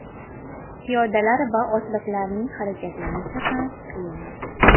Piyodalar va otliqlarning harakatlanishi ham qiyinlashdi.